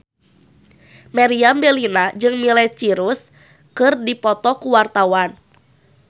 Meriam Bellina jeung Miley Cyrus keur dipoto ku wartawan